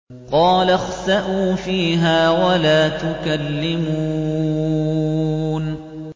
قَالَ اخْسَئُوا فِيهَا وَلَا تُكَلِّمُونِ